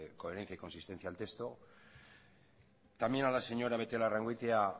coherencia y consistencia al texto también a la señora beitialarrangoitia